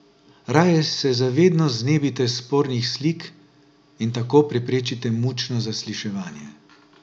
Raje se za vedno znebite spornih slik in tako preprečite mučno zasliševanje.